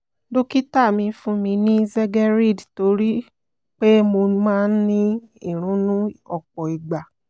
dókítà mi fún mi ní zegerid nítorí pé mo máa ń ní ìrunú ọ̀pọ̀ ìgbà